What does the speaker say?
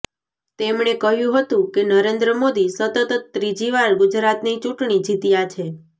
તેમને કહ્યું હતું કે નરેન્દ્ર મોદી સતત ત્રીજીવાર ગુજરાતની ચુંટણી જીત્યા છે